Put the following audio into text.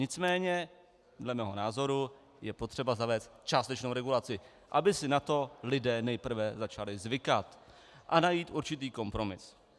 Nicméně dle mého názoru je potřeba zavést částečnou regulaci, aby si na to lidé nejprve začali zvykat a najít určitý kompromis.